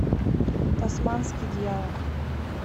тасманский дьявол